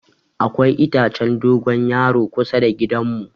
Akwai itacen dogon yaro kusa da gidan mu.